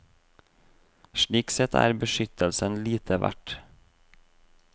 Slik sett er beskyttelsen lite verd.